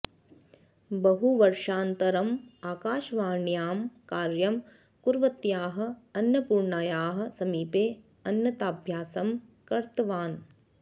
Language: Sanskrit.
बहुवर्षानन्तरं आकाशवाण्यां कार्यं कुर्वत्याः अन्नपूर्णायाः समीपे अन्नताभ्यासं कृतवान्